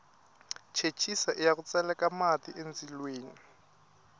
chechisa iya ku tseleka mati endzilweni